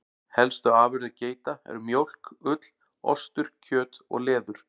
Helstu afurðir geita eru mjólk, ull, ostur, kjöt og leður.